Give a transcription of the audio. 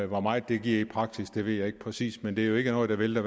hvor meget det bliver i praksis ved jeg ikke præcis men det er jo ikke noget der vælter